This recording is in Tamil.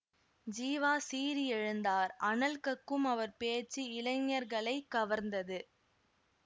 ஜீவா சீறி எழுந்தார் அனல் கக்கும் அவர் பேச்சு இளைஞர்களைக் கவர்ந்தது